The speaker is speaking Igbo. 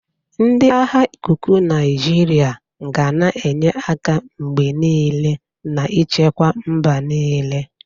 Ndị agha ikuku Naijiria ga na-enye aka mgbe niile na nchekwa mba niile.